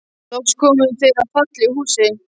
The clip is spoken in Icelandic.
Loks komu þeir að fallegu húsi.